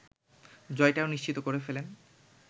জয়টাও নিশ্চিত করে ফেলেন